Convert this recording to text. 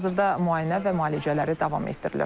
Hazırda müayinə və müalicələri davam etdirilir.